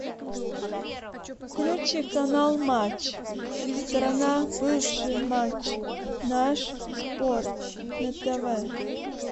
включи канал матч страна бывший матч наш спорт на тв